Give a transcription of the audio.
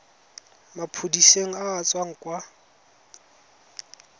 maphodiseng a a tswang kwa